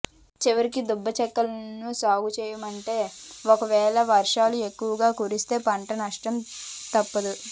చివరికి దుబ్బ చెల్కల్లోనూ సాగు చేయమంటే ఓకవేళ వర్షాలు ఎక్కువగా కురిస్తే పంట నష్టం తప్పదు